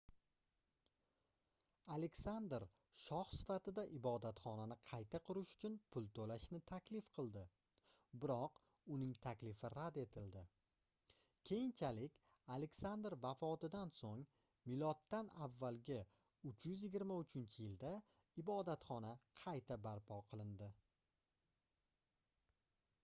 aleksandr shoh sifatida ibodatxonani qayta qurish uchun pul to'lashni taklif qildi biroq uning taklifi rad etildi. keyinchalik aleksandr vafotidan so'ng m.a.323-yilda ibodatxona qayta barpo qilindi